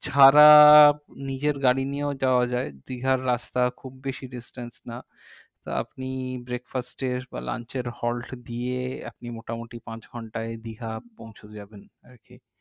ছাড়া নিজের গাড়ি নিয়েও যাওয়া যাই দীঘার রাস্তা খুব বেশি distance না তা আপনি breakfast এর বা lunch এর holt দিয়ে আপনি মোটামুটি পাঁচঘন্টায় দীঘা পৌঁছে যাবেন আর কি